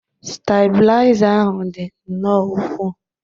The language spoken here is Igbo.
stabilizer ahụ dị nnọọ ukwuu